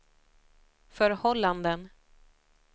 förhållanden